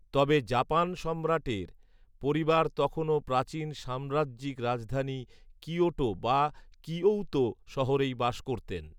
তবে জাপান সম্রাটের পরিবার তখনও প্রাচীন সাম্রাজ্যিক রাজধানী কিয়োটো বা কিঔতো শহরেই বাস করতেন